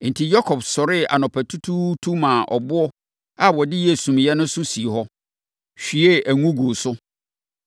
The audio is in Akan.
Enti, Yakob sɔree anɔpatutuutu maa ɛboɔ a ɔde yɛɛ sumiiɛ no so sii hɔ, hwiee ngo guu so.